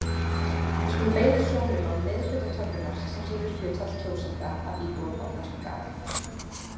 Við skulum beina sjónum að miðhluta töflunnar sem sýnir hlutfall kjósenda af íbúum á kosningaaldri.